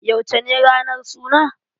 Yauce ne ranar suna?